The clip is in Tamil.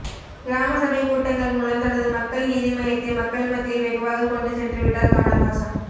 கிராம சபை கூட்டங்கள் மூலம் தனது மக்கள் நீதி மய்யத்தை மக்கள் மத்தியில் வெகுவாக கொண்டு சென்று விட்டார் கமல்ஹாசன்